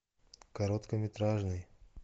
короткометражный